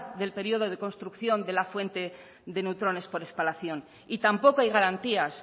del periodo de construcción de la fuente de neutrones por espalación y tampoco hay garantías